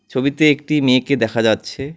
ছবিতে একটি মেয়েকে দেখা যাচ্ছে।